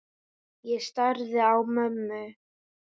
Ég starði á mömmu.